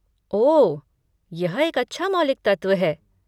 ओह, यह एक अच्छा मौलिक तत्व है।